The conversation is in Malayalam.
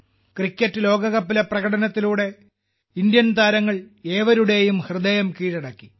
ക്രിക്കറ്റ് ലോകകപ്പിലെ പ്രകടനത്തിലൂടെ ഇന്ത്യൻ താരങ്ങൾ ഏവരുടെയും ഹൃദയം കീഴടക്കി